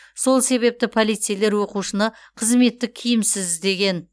сол себепті полицейлер оқушыны қызметтік киімсіз іздеген